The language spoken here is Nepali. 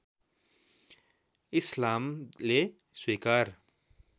इस्लामले स्वीकार